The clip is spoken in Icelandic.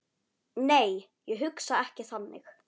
Nei, ég hugsa ekki þannig.